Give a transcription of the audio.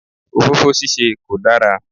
Òfófó ṣíṣe kò dára.